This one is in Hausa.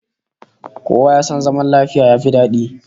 Kowa ya san zaman lafiya yafi dadi